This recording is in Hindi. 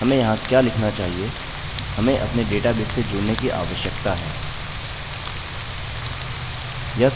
यह